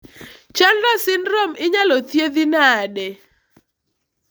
Chandler syndrome inyalo thiedhi nade?